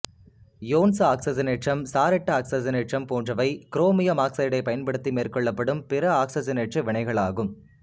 யோன்சு ஆக்சிசனேற்றம் சாரெட்டு ஆக்சிசனேற்றம் போன்றவை குரோமியம் ஆக்சைடைப் பயன்படுத்தி மேற்கொள்ளப்படும் பிற ஆக்சிசனேற்ற வினைகளாகும்